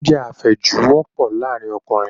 Oúnjẹ àfẹ́jù wọ́pọ̀ láàrin Ọkùnrin